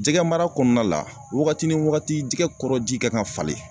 Jɛgɛmara kɔɔna la wagati ni wagati jɛgɛ kɔrɔ ji kan ka falen